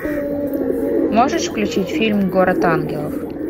можешь включить фильм город ангелов